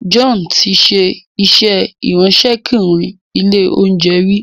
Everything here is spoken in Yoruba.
John tí ṣe iṣé Ìráńṣẹ́kùnrin ilé-oúnjẹ rí.